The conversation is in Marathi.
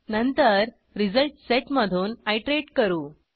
नंतर रिझल्ट सेट मधून आयटरेट करू